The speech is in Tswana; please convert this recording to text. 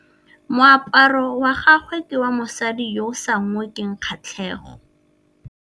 Moaparô wa gagwe ke wa mosadi yo o sa ngôkeng kgatlhegô.